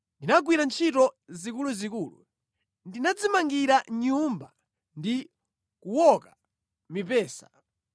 Ndinagwira ntchito zikuluzikulu: Ndinadzimangira nyumba ndi kuwoka mipesa.